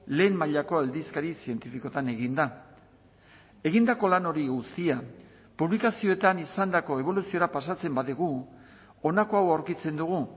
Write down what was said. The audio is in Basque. lehen mailako aldizkari zientifikoetan egin da egindako lan hori guztia publikazioetan izandako eboluziora pasatzen badugu honako hau aurkitzen dugu